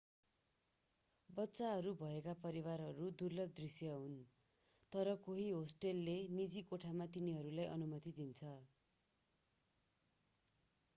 बच्चाहरू भएका परिवारहरू दुर्लभ दृश्य हुन् तर केही होस्टलले निजी कोठामा तिनीहरूलाई अनुमति दिन्छ